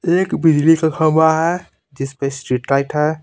एक बिजली का खम्बा है जिस पे स्ट्रीटलाइट है.